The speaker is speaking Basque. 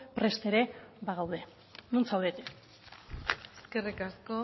prest ere bagaude non zaudete eskerrik asko